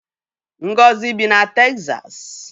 Ngozi bi na Texas